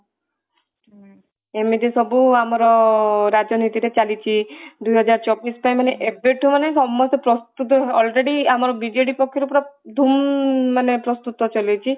ଏମିତି ସବୁ ଆମର ରାଜନୀତିରେ ଚାଲିଛି ଦୁଇ ହଜାର ଚବିଶ ପାଇଁ ମାନେ ଏବେଠୁ ମାନେ ସମସ୍ତେ ପ୍ରସ୍ତୁତ ମାନେ already ଆମର ବିଜେଡି ପକ୍ଷରୁ ପୁରା ଧୂମ ମାନେ ପ୍ରସ୍ତୁତ ଚାଲିଛି